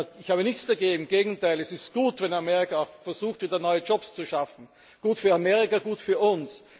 Ich habe nichts dagegen, im Gegenteil, es ist gut, wenn Amerika versucht, wieder neue Jobs zu schaffen, gut für Amerika, gut für